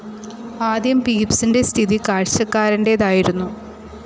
ആദ്യം പീപ്സിൻ്റെ സ്ഥിതി കാഴ്ചക്കാരൻ്റേതായിരുന്നു.